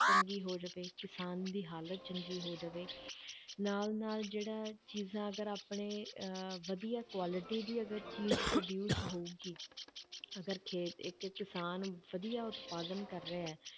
ਚੰਗੀ ਹੋ ਜਾਵੇ, ਕਿਸਾਨ ਦੀ ਹਾਲਤ ਚੰਗੀ ਹੋ ਜਾਵੇ ਨਾਲ ਨਾਲ ਜਿਹੜਾ ਚੀਜ਼ਾਂ ਅਗਰ ਆਪਣੇ ਅਹ ਵਧੀਆ quality ਦੀ ਅਗਰ ਚੀਜ਼ produce ਹੋਊਗੀ ਅਗਰ ਖੇਤ ਇੱਕ ਕਿਸਾਨ ਵਧੀਆ ਉਤਪਾਦਨ ਕਰ ਰਿਹਾ ਹੈ,